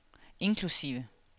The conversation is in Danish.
inklusive